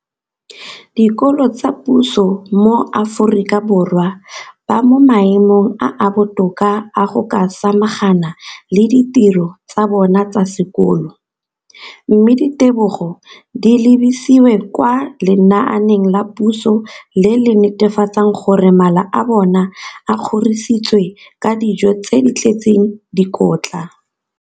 dikolo tsa puso mo Aforika Borwa ba mo maemong a a botoka a go ka samagana le ditiro tsa bona tsa sekolo, mme ditebogo di lebisiwa kwa lenaaneng la puso le le netefatsang gore mala a bona a kgorisitswe ka dijo tse di tletseng dikotla.